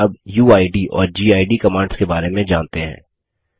चलिए अब उइद और गिड कमांड्स के बारे में जानते हैं